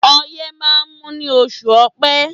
Ọyẹ́ máa ń mú ní oṣù ọpẹ́